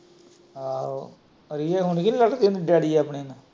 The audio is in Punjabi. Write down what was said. ਆਹੋ ਰੀਆਂ ਹੁਣ ਵੀ ਲੜਦੀ ਏ ਡੈਡੀ ਆਪਣੇ ਨੂੰ।